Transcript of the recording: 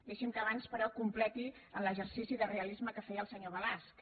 deixi’m que abans però completi l’exercici de realisme que feia el senyor balasch